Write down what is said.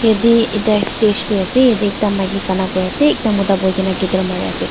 yatae ekta stage tae ase yatae ekta maki gana kuriase ekta mota boikaena guitar mariase.